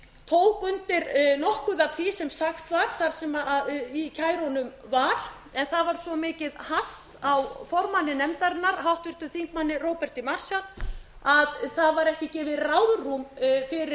tók undir nokkuð af því sem sagt var það sem í kærunum var en það var svo mikið haft á formanni nefndarinnar háttvirtum þingmanni róberti marshall að það var ekki gefið ráðrúm fyrir landskjörstjórn